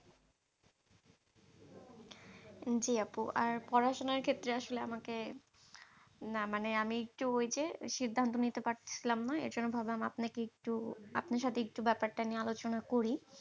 জি আপু, আর পড়াশোনার ক্ষেত্রে আসলে আমাকে না মানে আমি একটু ওই যে, সিদ্ধান্ত নিতে পারছিলাম না। এই জন্য ভাবলাম আপনাকে একটু আপনার সাথে একটু ব্যাপারটা নিয়ে আলোচনা করি।